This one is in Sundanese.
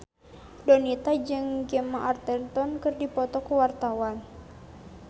Donita jeung Gemma Arterton keur dipoto ku wartawan